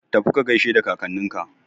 Tafi ka gaishe da kakanninka!